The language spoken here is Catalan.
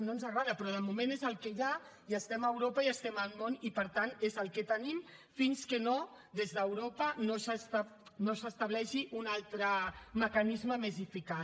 no ens agrada però de moment és el que hi ha i estem a europa i estem al món i per tant és el que tenim fins que des d’europa no s’estableixi un altre mecanisme més eficaç